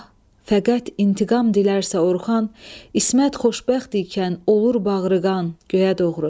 fəqət intiqam dilərsə Orxan, İsmət xoşbəxt ikən olur bağrıqan, göyə doğru.